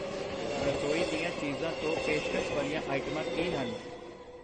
ਰਸੋਈ ਦੀਆਂ ਚੀਜ਼ਾਂ ਤੋਂ ਪੇਸ਼ਕਸ਼ ਵਾਲੀਆਂ ਆਈਟਮਾਂ ਕੀ ਹਨ?